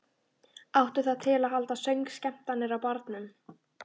Áttu það til að halda söngskemmtanir á barnum.